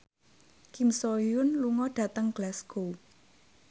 Kim So Hyun lunga dhateng Glasgow